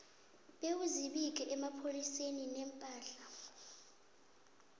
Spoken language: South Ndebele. bewuzibike emapholiseni iimpahla